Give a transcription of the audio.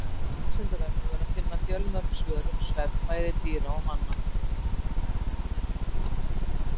Á Vísindavefnum er að finna fjölmörg svör um svefn bæði dýra og manna.